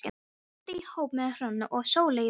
Ég lenti í hópi með Hrönn og Sóleyju Björk.